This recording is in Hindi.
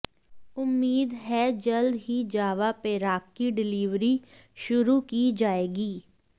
उम्मीद है जल्द ही जावा पेराककी डिलीवरी शुरू की जायेगी